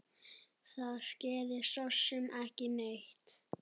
Það skeði sosum ekki neitt.